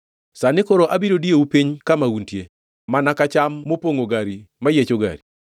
“Sani koro abiro diyou piny kama untie, mana ka cham mopongʼo gari mayiecho gari.